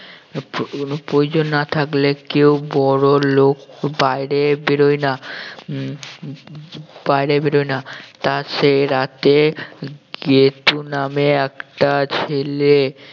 প্র~ প্রয়োজন না থাকলে কেউ বড় লোক বাহিরে বের হয় না উম উম বাহিরে বের হয় না তা সেই রাতে গেদু নামে একটা ছেলে